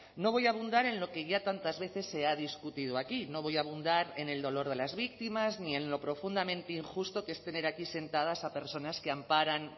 no voy a abundar en lo que ya tantas veces se ha discutido aquí no voy a abundar en el dolor de las víctimas ni en lo profundamente injusto que es tener aquí sentadas a personas que amparan